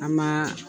An ma